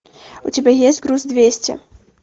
у тебя есть груз двести